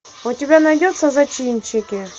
у тебя найдется зачинщики